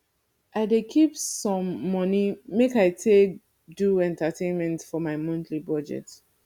i dey keep some money make i take dey do entertainment for my monthly budget